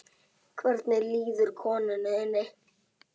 Hvernig líður konu þinni?